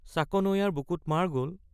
চাকনৈয়াৰ বুকুত মাৰ গল।